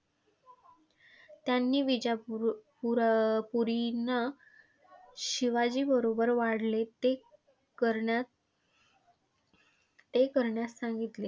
त्यांनी विजापूरपूरपुरींना शिवाजी बरोबर वाढले, ते करण्यास ते करण्यास सांगितले.